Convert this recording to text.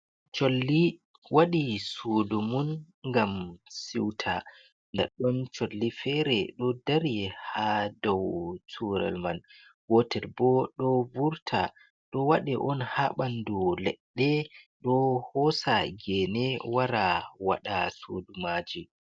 Colli waɗi sudu mun ngam siuta. Nda ɗon colli fere ɗo dari ha dou curel man, gotel bo ɗo vurta. Ɗo waɗe on ha ɓandu leɗɗe, ɗo hosa gene wara waɗa sudu maaji.